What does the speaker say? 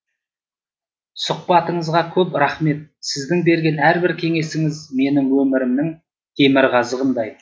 сұхбатыңызға көп рахмет сіздің берген әрбір кеңесіңіз менің өмірімнің темірқазығындай